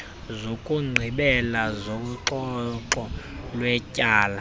zokugqibela zoxoxo lwetyala